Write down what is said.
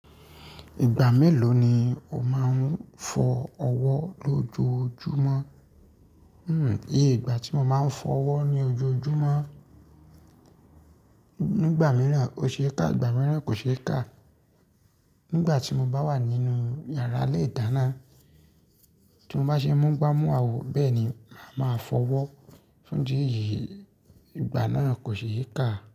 Ìgbà mélòó ni o máa ń fọ ọwọ́ lójoojúmọ́? Hmm, iye ìgbà tí mo máa ń fọ ọwọ́ ní ojoojúmọ́, nígbà mìíràn ó ṣe kà, ìgbà mìíràn kò ṣe kà. Nígbà tí mo bá wà nínú yàrá ilé ìdáná, tí mo bá ṣe mú igbá mú àwò, bẹ́ẹ̀ ni ma fọ ọwọ́ fún idi èyì, ìgbà náà kò ṣe kà.